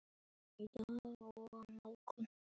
Það er frábær staður.